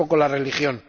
Tampoco la religión.